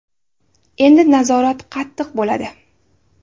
Endi nazorat qattiq bo‘ladi.